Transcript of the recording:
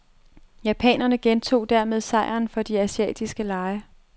Japanerne gentog dermed sejren fra de asiatiske lege.